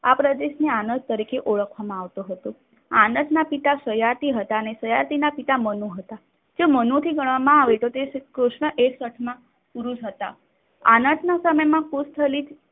આ પ્રદેશની અનર તરીકે ઓળખવામાં આવતો હતો. આંટીના પિતા સાયટી હતા અને સાયટીના પિતા મનુ હતા. જો મનુથી ગણવામાં આવે તો તે કૃષ્ણ એક પુરુષ હતા. આનતના સમયમાં